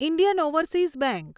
Indian Overseas bank